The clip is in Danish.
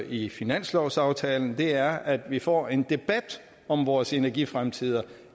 i finanslovsaftalen og det er at vi får en debat om vores energifremtid